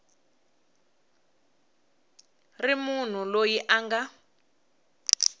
ri munhu loyi a nga